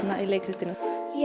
leikritinu